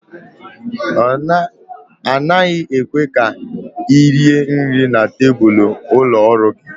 A naghị ekwe ka ị rie nri na tebụl ụlọ ọrụ gị